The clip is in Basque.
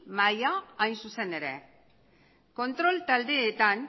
maila hain zuzen ere kontrol taldeetan